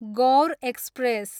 Gaur express